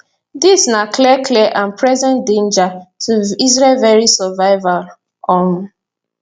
dis na clear clear and present danger to israel veri survival um